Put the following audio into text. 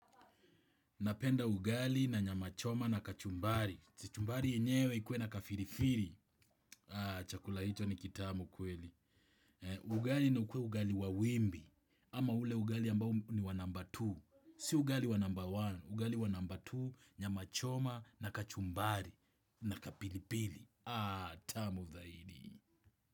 Napenda ugali na nyama choma na kachumbari. Kachumbari yenyewe ikuwe na kapilipili. Chakula hicho ni kitamu kweli. Ugali na ukue ugali wa wimbi. Ama ule ugali ambao ni wa number two. Si ugali wa number one. Ugali wa number two, nyama choma na kachumbari na ka pilipili. Ah, tamu zaidi.